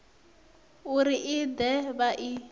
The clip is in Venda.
uri i de vha i